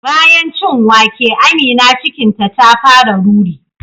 Bayan cin wake Amina cikinta ta fara ruri